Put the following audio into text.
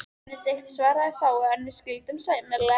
Benedikt svaraði fáu, en við skildum sæmilega.